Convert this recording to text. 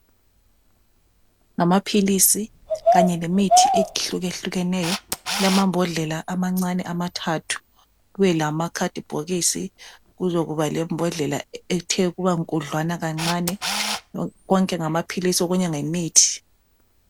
Ngamaphilisi kanye lemithi ehlukehlukeneyo kulamambodlela amancane amathathu kube lamakhadi bhokisi kuzokuba lembhodlela ethe ukuba nkudlwana kancane konke ngamaphilisi okunye yimithi